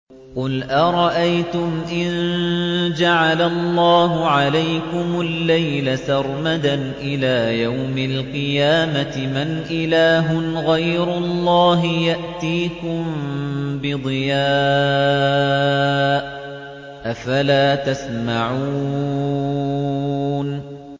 قُلْ أَرَأَيْتُمْ إِن جَعَلَ اللَّهُ عَلَيْكُمُ اللَّيْلَ سَرْمَدًا إِلَىٰ يَوْمِ الْقِيَامَةِ مَنْ إِلَٰهٌ غَيْرُ اللَّهِ يَأْتِيكُم بِضِيَاءٍ ۖ أَفَلَا تَسْمَعُونَ